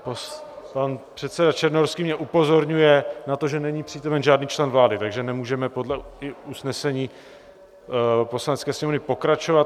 Pan předseda Černohorský mě upozorňuje na to, že není přítomen žádný člen vlády, takže nemůžeme podle usnesení Poslanecké sněmovny pokračovat.